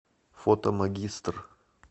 фото магистр